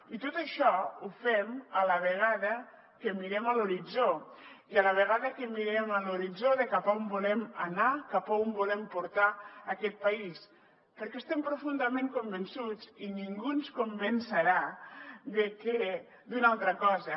i tot això ho fem a la vegada que mirem a l’horitzó i a la vegada que mirem a l’horitzó de cap a on volem anar cap a on volem portar aquest país perquè estem profundament convençuts i ningú ens convencerà d’una altra cosa